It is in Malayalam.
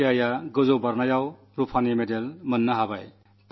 ഭാടി ഹൈജമ്പിലാണ് വെങ്കല മെഡൽ നേടിയത്